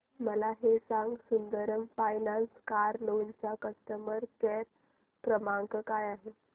मला हे सांग सुंदरम फायनान्स कार लोन चा कस्टमर केअर क्रमांक काय आहे